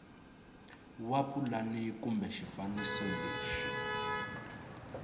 wa pulani kumbe xifaniso lexi